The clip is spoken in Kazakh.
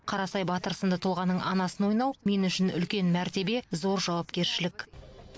қарасай батыр сынды тұлғаның анасын ойнау мен үшін үлкен мәртебе зор жауапкершілік